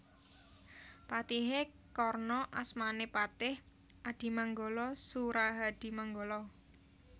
Patihé Karna asmané Patih Adimanggala Surahadimanggala